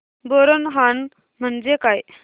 बोरनहाण म्हणजे काय